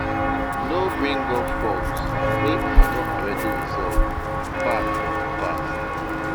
No bring up faults wey una don already resolve back from di past